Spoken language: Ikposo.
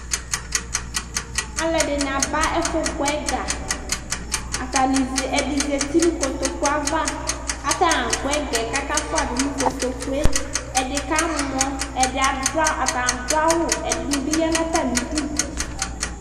alʊɛdɩnɩ aba ɛfʊ gbɔ sika, ɛdɩ zati nʊ kotoku ava, kʊ atanɩ agbɔ sika yɛ kʊ akafuadʊ nʊ kotoku yɛ li, ɛdɩ kamɔ, atanɩ adʊ awu, ɛdɩnɩ bɩ ya nʊ atamidu